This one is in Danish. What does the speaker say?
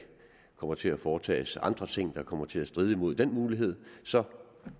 kommer til at blive foretaget andre ting der kommer til at stride mod den mulighed så